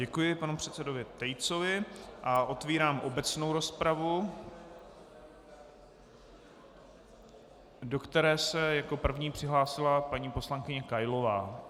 Děkuji panu předsedovi Tejcovi a otevírám obecnou rozpravu, do které se jako první přihlásila paní poslankyně Kailová.